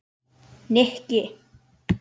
Nikki